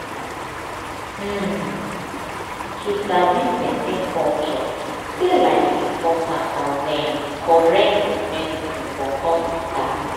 ummm to sabi person culture dey like important as um correct medicine for hospital.